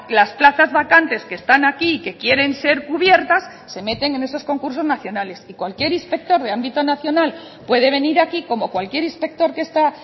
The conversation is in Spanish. las plazas vacantes que están aquí que quieren ser cubiertas se meten en esos concursos nacionales y cualquier inspector de ámbito nacional puede venir aquí como cualquier inspector que está